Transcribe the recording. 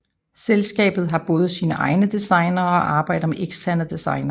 Selskabet har både sine egne designere og arbejder med eksterne designere